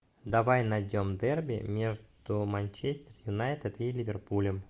давай найдем дерби между манчестер юнайтед и ливерпулем